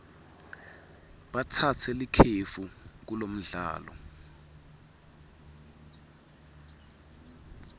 batsatse likefu kulomdlalo